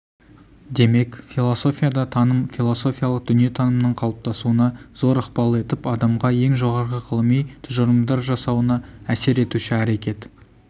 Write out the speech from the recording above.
демек философияда таным философиялық дүниетанымның қалыптасуына зор ықпал етіп адамға ең жоғарғы ғылыми тұжырымдар жасауына әсер етуші әрекет